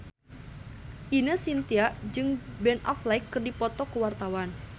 Ine Shintya jeung Ben Affleck keur dipoto ku wartawan